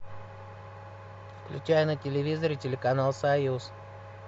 включай на телевизоре телеканал союз